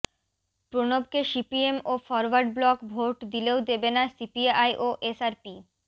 প্রণবকে CPM ও Forward Bloc vote দিলেও দেবে না সিপিআই ও আরএসপি